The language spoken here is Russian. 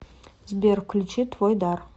сбер включи твойдар